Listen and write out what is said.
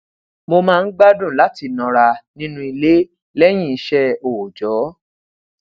mo máa ń gbádùn lati nora nínú ile leyin ise oojo